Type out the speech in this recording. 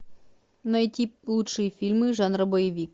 найти лучшие фильмы жанра боевик